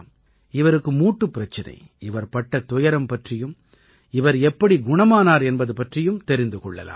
இவருக்கு மூட்டுப் பிரச்சனை இவர் பட்ட துயரம் பற்றியும் இவர் எப்படி குணமானார் என்பது பற்றியும் தெரிந்து கொள்ளலாம்